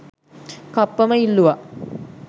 කප්පම ඉල්ලුවා